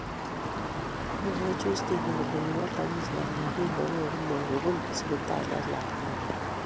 Mwae Justina kole kiwalogis ng'alek kingoweek inne kobun sibitali ak lakwenyi